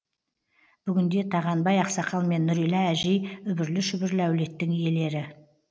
бүгінде тағанбай ақсақал мен нұрила әжей үбірлі шүбірлі әулеттің иелері